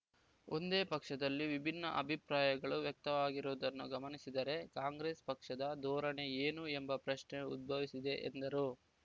ಒಂದೇ ಪಕ್ಷದಲ್ಲಿ ವಿಭಿನ್ನ ಅಭಿಪ್ರಾಯಗಳು ವ್ಯಕ್ತವಾಗಿರುವುದನ್ನು ಗಮನಿಸಿದರೆ ಕಾಂಗ್ರೆಸ್ ಪಕ್ಷದ ಧೋರಣೆ ಏನು ಎಂಬ ಪ್ರಶ್ನೆ ಉದ್ಭವಿಸಿದೆ ಎಂದರು